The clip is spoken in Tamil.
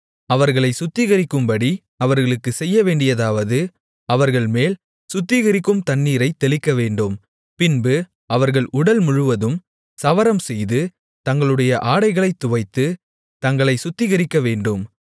அவர்களைச் சுத்திகரிக்கும்படி அவர்களுக்குச் செய்யவேண்டியதாவது அவர்கள்மேல் சுத்திகரிக்கும் தண்ணீரைத் தெளிக்கவேண்டும் பின்பு அவர்கள் உடல் முழவதும் சவரம்செய்து தங்களுடைய ஆடைகளைத் துவைத்து தங்களைச் சுத்திகரிக்கவேண்டும்